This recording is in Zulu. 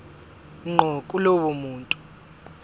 ngqo kulowo muntu